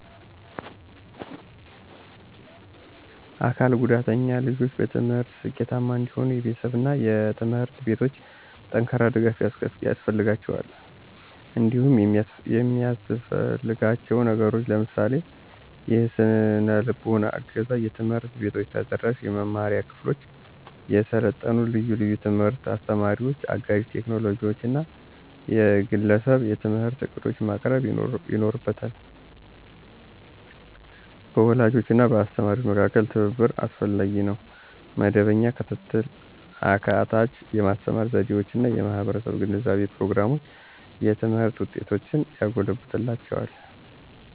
አካል ጉዳተኛ ልጆች በትምህርት ስኬታማ እንዲሆኑ የቤተሰቦች እና ትምህርት ቤቶች ጠንካራ ድጋፍ ያስፈልጋቸዋል። እንዲሁም የሚያሰፍልጋችው ነገሮችን ለምሳሌ -; የሰነልቦና እገዛ፣ ትምህርት ቤቶች ተደራሽ የመማሪያ ክፍሎችን፣ የሰለጠኑ የልዩ ትምህርት አስተማሪዎችን፣ አጋዥ ቴክኖሎጂዎችን እና የግለሰብ የትምህርት ዕቅዶችን ማቅረብ ይኖርበታ። በወላጆች እና በአስተማሪዎች መካከል ትብብር አስፈላጊ ነው. መደበኛ ክትትል፣ አካታች የማስተማር ዘዴዎች እና የማህበረሰብ ግንዛቤ ፕሮግራሞች የትምህርት ውጤቶችን ያጎለብትላቸዋል።